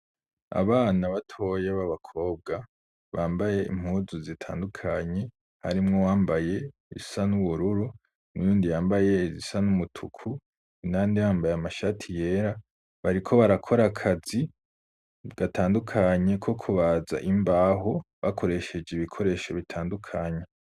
Abana batoya b'abakobwa bambaye impuzu zitandukanye harimwo wambaye iyisa n'ubururu n'uyundi yambaye izisa n'umutuku, indani bambaye amashati yera bariko barakora akazi gatandukanye ko kubaza imbaho bakoresheje ibikoresho bitandukanye